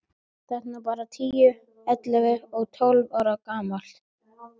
Þetta er nú bara tíu, ellefu og tólf ára gamalt.